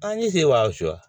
An ni se